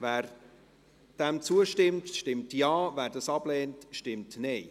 Wer dem zustimmt, stimmt Ja, wer dies ablehnt, stimmt Nein.